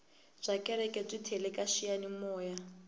byakereke byi tele kaxiyani moya